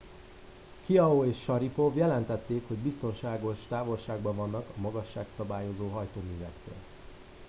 chiao és sharipov jelentették hogy biztonságos távolságban vannak a magasságszabályzó hajtóművektől